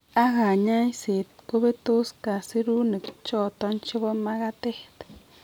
Ak kanyaiset , kobetos kasirunik choton chebo makatet